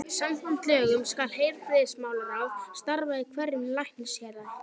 Samkvæmt lögunum skal heilbrigðismálaráð starfa í hverju læknishéraði.